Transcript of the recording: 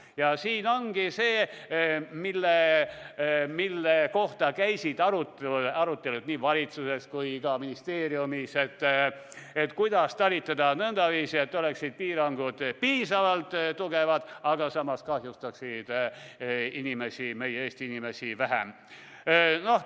Ja siin ongi see, mille kohta käisid arutelud nii valitsuses kui ka ministeeriumis: kuidas talitada nõndaviisi, et piirangud oleksid piisavalt tugevad, aga samas kahjustaksid inimesi, meie Eesti inimesi, vähem?